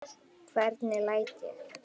Hvernig læt ég!